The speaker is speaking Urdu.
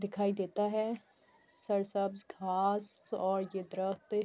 دکھائی دیتا ہے۔ گھاس اور یہ درخت--